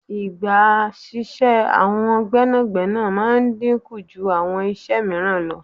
Ìgbà síṣẹ́ àwọn gbẹ́nàgbẹ́nà máa dínkù jú àwọn iṣẹ́ mìíràn lọ.